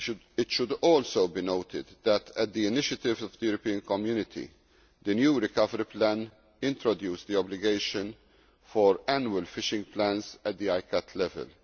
It should also be noted that, at the initiative of the European Community, the new recovery plan introduced the obligation for annual fishing plans at ICCAT level.